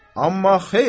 Amma, xeyr!